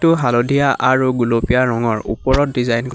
টো হালধীয়া আৰু গুলপীয়া ৰঙৰ ওপৰত ডিজাইন ক--